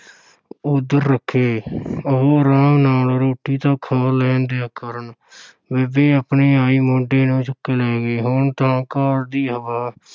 ਉੱਧਰ ਰੱਖੇ ਉਹ ਆਰਾਮ ਨਾਲ ਰੋਟੀ ਤਾਂ ਖਾ ਲੈਣ ਦਿਆ ਕਰਨ ਬੇਬੇ ਆਪਣੀ ਆਈ ਮੁੰਡੇ ਨੂੰ ਚੁੱਕ ਲੈ ਗਈ, ਹੁਣ ਤਾਂ ਘਰ ਦੀ ਹਵਾ